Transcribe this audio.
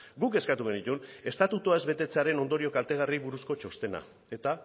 guk eskatu genituen estatutua ez betetzearen ondorio kaltegarriei buruzko txostena eta